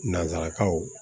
Nanzarakanw